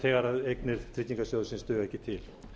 þegar eignir tryggingarsjóðsins duga ekki til